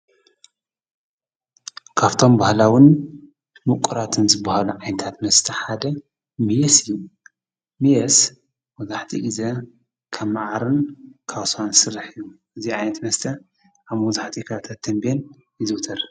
ካብቶም በሃላዉን ምቑራትን ዝብሃሉ ዓይንታት መስተ ሓደ ሚስ እዩ ሚየስ መብዛህቲኡ ጊዜ ካብ መዓርን ካብ ሳዋን ሥራሕ ዩ እዚ ኣይት መስተ ኣብ ወብዙሕኡ ኽባብ ተንበን ይዘውተር፡፡